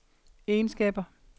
egenskaber